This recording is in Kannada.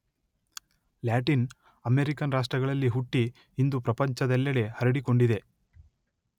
ಲ್ಯಾಟಿನ್ ಅಮೆರಿಕನ್ ರಾಷ್ಟ್ರಗಳಲ್ಲಿ ಹುಟ್ಟಿ ಇಂದು ಪ್ರಪಂಚದಲ್ಲೆಡೆ ಹರಡಿಕೊಂಡಿದೆ.